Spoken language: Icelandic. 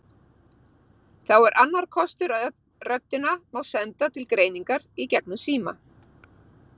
Þá er annar kostur að röddina má senda til greiningar í gegnum síma.